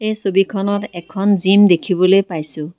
এই ছবিখনত এখন জিম দেখিবলৈ পাইছোঁ।